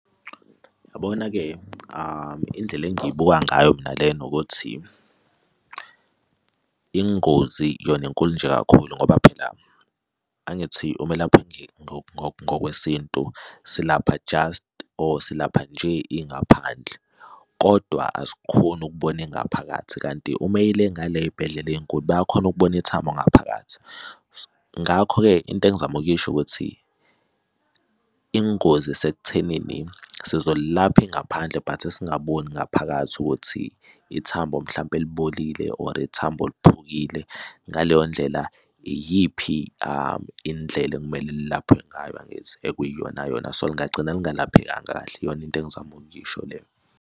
Uyabona-ke indlela engiyibuka ngayo mina lena ukuthi ingozi yona inkulu nje kakhulu ngoba phela angithi umelaphi ngokwesintu silapha just or silapha nje ingaphandle, kodwa asikhoni ukubona ingaphakathi kanti uma eyile ngale ey'bhedlela ey'nkulu bayakhona ukubona ithambo ngaphakathi. Ngakho-ke into engizama ukuyisho ukuthi ingozi isekuthenini sizolilapha ingaphandle but singaboni ngaphakathi ukuthi ithambo mhlampe libolile or ithambo liphukile. Ngaleyondlela iyiphi indlela ekumele lilaphwe ngayo, angithi? Ekuyiyona yona, so lingagcina lingalaphekanga kahle iyona into engizama ukuyisho leyo.